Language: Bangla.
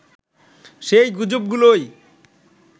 সেই গুজবগুলোই